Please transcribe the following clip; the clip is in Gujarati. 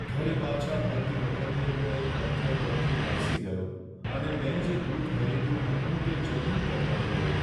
ઘરે પાછા ફરતી વખતે હું એક પથ્થર પરથી લપસી ગયો અને મેં જે દૂધ ખરીદ્યું હતું તે જમીન પર પડી ગયું.